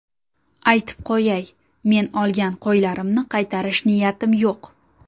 Aytib qo‘yay, men olgan qo‘ylarimni qaytarish niyatim yo‘q.